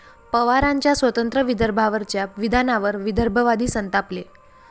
पवारांच्या स्वतंत्र विदर्भावरच्या विधानावर विदर्भवादी संतापले